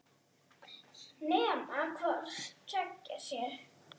Nema hvort tveggja sé.